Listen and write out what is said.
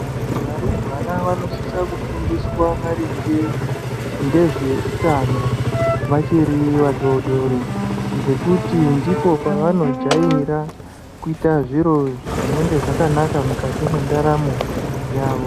Varumbwana vanosisa kufundiswe maringe ngezveutano vachiri vadodori. Ngekuti ndipo pavanojaira kuita zviro zvinenge zvakanaka mukati mendaramo yavo.